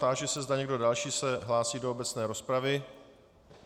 Táži se, zda někdo další se hlásí do obecné rozpravy.